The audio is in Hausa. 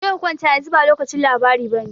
Je ka kwanta, yanzu ba lokacin labari bane.